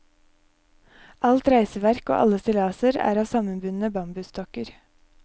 Alt reisverk og alle stillaser er av sammenbundne bambusstokker.